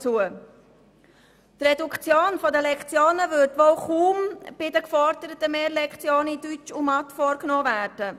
Die Reduktion der Lektionenzahl würde wohl kaum die Fächer Mathematik und Deutsch betreffen, bei denen ja ein Ausbau gefordert wurde.